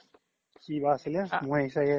কিবা আছিলে মই চাগে